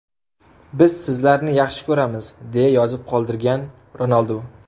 Biz sizlarni yaxshi ko‘ramiz”, deya yozib qoldirgan Ronaldu.